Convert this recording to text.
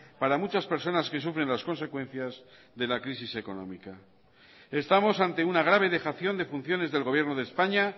para muchas personas que sufren las consecuencias de la crisis económica estamos ante una grave dejación de funciones del gobierno de españa